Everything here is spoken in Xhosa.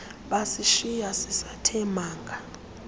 basishiya sisathe manga